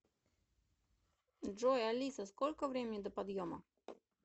джой алиса сколько времени до подъема